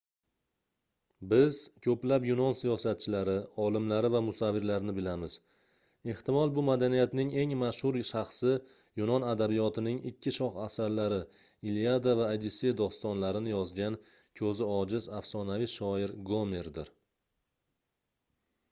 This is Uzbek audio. biz koʻplab yunon siyosatchilari olimlari va musavvirlarini bilamiz ehtimol bu madaniyatning eng mashhur shaxsi yunon adabiyotining ikki shoh asarlari iliada va odissey dostonlarini yozgan koʻzi ojiz afsonaviy shoir gomerdir